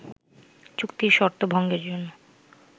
চুক্তির শর্ত ভঙ্গের জন্য